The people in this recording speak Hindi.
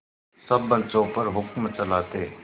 सब बच्चों पर हुक्म चलाते